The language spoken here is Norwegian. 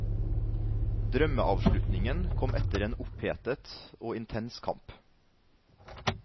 Drømmeavslutningen kom etter en opphetet og intens kamp.